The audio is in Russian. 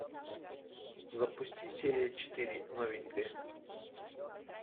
запусти серия четыре новенькая